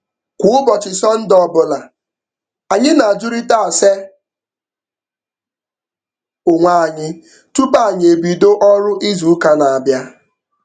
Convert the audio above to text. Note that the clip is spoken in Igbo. Kwa ụbọchị Sọnde ọbụla, anyị na-ajụrịta ase onwe anyị tupu anyị ebido ọrụ izuụka n'abịa